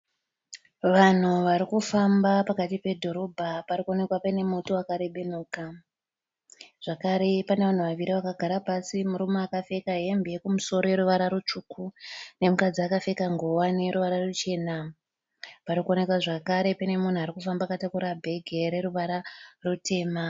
Vanhu vari kufamba vari pakati pedhorobha. Pari kuonekwa pane muti wakarebenuka. Zvakare pane vanhu vaviri vakagara pasi, murume akapfeka hembe yekumusoro yeruvara rutsvuku nemukadzi akapfeka nguwani yeruvara ruchena. Pari kuonekwa zvakare pane munhu ari kufamba akatakura bhegi reruvara rutema.